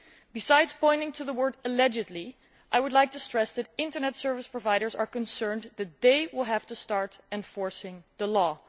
Besides pointing to the word allegedly', I would like to stress that Internet service providers are concerned that they will have to start enforcing the law.